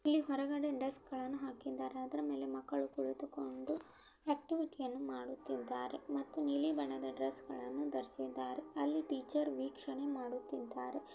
ಇಲ್ಲಿ ಹೊರಗಡೆ ಡೆಸ್ಕ್ ಗಳನ್ನೂ ಹಾಕಿದ್ದಾರೆ ಅದರ ಮೇಲೆ ಮಕ್ಕಳು ಕುಳಿತುಕೊಂಡು ಆಕ್ಟಿವಿಟಿ ಗಳನ್ನೂ ಮಾಡುತ್ತಿದ್ದಾರೆ ಮತ್ತು ನೀಲಿ ಬಣ್ಣದ ಡ್ರೆಸ್ ಗಳನ್ನೂ ಧರಿಸಿದ್ದಾರೆ. ಅಲ್ಲಿ ಟೀಚರ್ ವೀಕ್ಷಣೆ ಮಾಡುತ್ತಿದ್ದಾರೆ.